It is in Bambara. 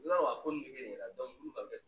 I b'a dɔn a ko nin bɛ na dɔn